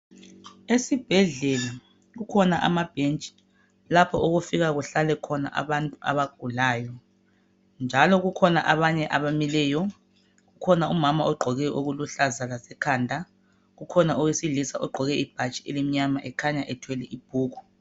Esibhedlela kukhona amabhentshi lapho okufika kuhlale khona abantu abagulayo, njalo kukhona abanye abamileyo. Kukhona umama ogqoke okuluhlaza lasekhanda, kukhona owesilisa ogqoke ibhatshi elimnyama kukhanya ethwele ibhuku.